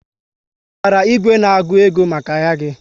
Ị zụtara igwe na-agụ ego maka ahịa gị?